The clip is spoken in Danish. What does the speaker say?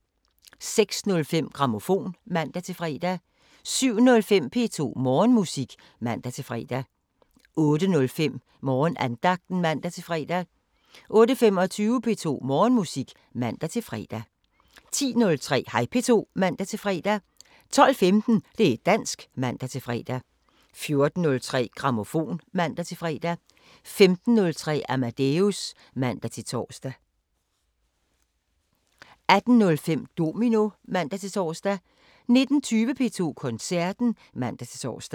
06:05: Grammofon (man-fre) 07:05: P2 Morgenmusik (man-fre) 08:05: Morgenandagten (man-fre) 08:25: P2 Morgenmusik (man-fre) 10:03: Hej P2 (man-fre) 12:15: Det´ dansk (man-fre) 14:03: Grammofon (man-fre) 15:03: Amadeus (man-tor) 18:05: Domino (man-tor) 19:20: P2 Koncerten (man-tor)